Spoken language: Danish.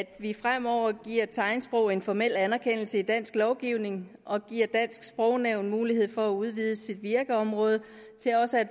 at vi fremover giver tegnsprog en formel anerkendelse i dansk lovgivning og giver dansk sprognævn mulighed for at udvide sit virkeområde til også at